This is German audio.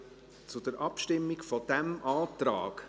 Wir kommen zur Abstimmung über diesen Antrag.